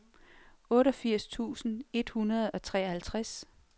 otteogfirs tusind et hundrede og treoghalvtreds